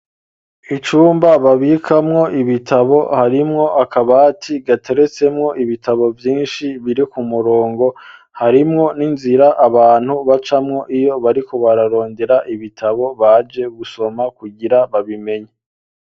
Icumba, babikamwo ibitabo; harimwo akabati, gateretsemwo ibitabo, vyinshi, biri ku murongo; harimwo n'inzira, abantu bacamwo, iyo bariko bararondera, ibitabo, baje gusoma, kugira babimenye.